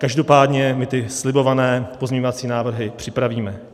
Každopádně my ty slibované pozměňovací návrhy připravíme.